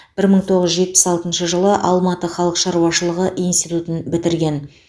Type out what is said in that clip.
бір мың тоғыз жүз жетпіс алтыншы жылы алматы халық шаруашылығы институтын бітірген